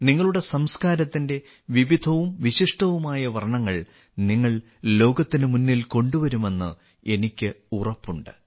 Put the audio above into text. നിങ്ങളുടെ സംസ്കാരത്തിന്റെ വിവിധവും വിശിഷ്ടവുമായ വർണ്ണങ്ങൾ നിങ്ങൾ ലോകത്തിന് മുന്നിൽ കൊണ്ടുവരുമെന്ന് എനിക്ക് ഉറപ്പുണ്ട്